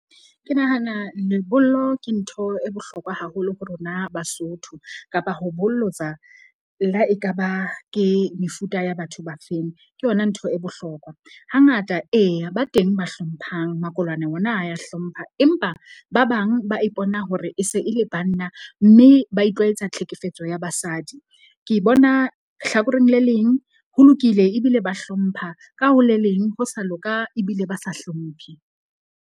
Ke nahana lebollo ke ntho e bohlokwa haholo ho rona Basotho kapa ho bollotsa le ha ekaba ke mefuta ya batho ba feng. Ke yona ntho e bohlokwa. Hangata eya ba teng ba hlomphang makolwane ona a ya hlompha. Empa ba bang ba ipona hore e se e le banna mme ba itlwaetsa tlhekefetso ya basadi. Ke bona hlakoreng le leng, ho lokile ebile ba hlompha ka ho le leng ho sa loka ebile ba sa hlomphe.